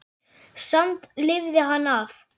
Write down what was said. Samt lifði hann af.